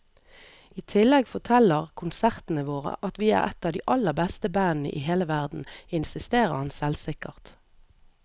I tillegg forteller konsertene våre at vi er et av de aller beste bandene i hele verden, insisterer han selvsikkert.